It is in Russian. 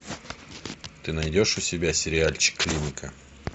ты найдешь у себя сериальчик клиника